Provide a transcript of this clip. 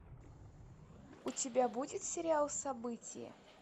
у тебя будет сериал событие